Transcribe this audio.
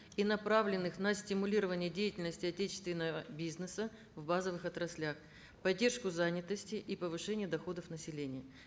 и направленных на стимулирование деятельности отечественного бизнеса в базовых отраслях поддержку занятости и повышения доходов населения